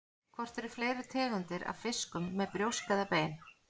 Hvort eru fleiri tegundir af fiskum með brjósk eða bein?